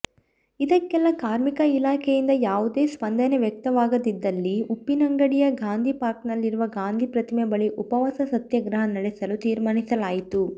ಇದಕ್ಕೆಲ್ಲಾ ಕಾರ್ಮಿಕ ಇಲಾಖೆಯಿಂದ ಯಾವುದೇ ಸ್ಪಂದನೆ ವ್ಯಕ್ತವಾಗದಿದ್ದಲ್ಲಿ ಉಪ್ಪಿನಂಗಡಿಯ ಗಾಂಧಿಪಾರ್ಕ್ನಲ್ಲಿರುವ ಗಾಂಧಿ ಪ್ರತಿಮೆ ಬಳಿ ಉಪವಾಸ ಸತ್ಯಾಗ್ರಹ ನಡೆಸಲು ತೀರ್ಮಾನಿಸಲಾಯಿತು